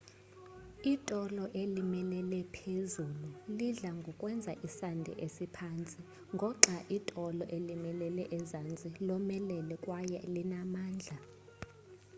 itolo elimilele-phezulu lidla ngokwenza isandi esiphantsi ngoxai itolo elimilele ezantsi lomelele kwaye linamandla